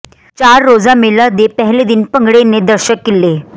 ਚਾਰ ਰੋਜ਼ਾ ਮੇਲੇ ਦੇ ਪਹਿਲੇ ਦਿਨ ਭੰਗੜੇ ਨੇ ਦਰਸ਼ਕ ਕੀਲੇ